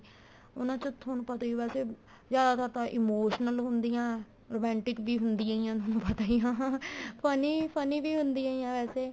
ਉਹਨਾ ਚ ਤੁਹਾਨੂੰ ਪਤਾ ਵੈਸੇ ਜਿਆਦਾ ਤਰ ਤਾਂ emotional ਹੁੰਦੀਆਂ romantic ਵੀ ਹੁੰਦੀਆਂ ਈ ਆ ਤੁਹਾਨੂੰ ਪਤਾ ਈ ਆ funny funny ਵੀ ਹੁੰਦੀਆਂ ਏ ਵੈਸੇ